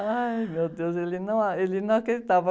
Ai, meu Deus, ele não a, ele não acreditava.